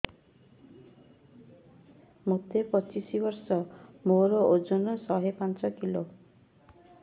ମୋତେ ପଚିଶି ବର୍ଷ ମୋର ଓଜନ ଶହେ ପାଞ୍ଚ କିଲୋ